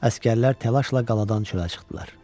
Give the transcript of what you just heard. Əsgərlər təlaşla qaladan çölə çıxdılar.